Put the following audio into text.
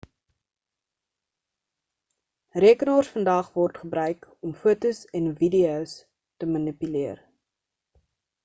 rekenaars vandag word gebruik om fotos en videos te manipuleer